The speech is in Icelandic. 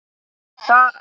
Það var leitt að heyra.